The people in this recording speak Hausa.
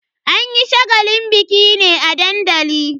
An yi shagalin bikin ne a dandali.